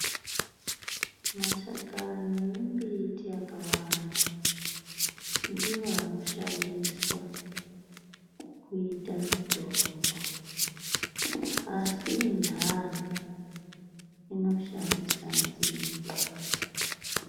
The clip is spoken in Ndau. Mashakani ane mbiti yakawanda ndiwo anoshandiswa kuita mitombo asi endani anoshandise nzinde.